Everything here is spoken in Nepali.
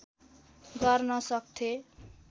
गर्न सक्थें